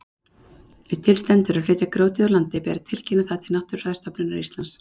Ef til stendur að flytja grjótið úr landi ber að tilkynna það til Náttúrufræðistofnunar Íslands.